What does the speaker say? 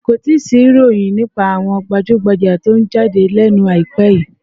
Kò tíì sí ìròyìn nípa àwọn gbajúgbajà tó ń jáde lẹ́nu àìpẹ́ yìí